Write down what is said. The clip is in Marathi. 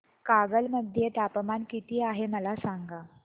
कागल मध्ये तापमान किती आहे मला सांगा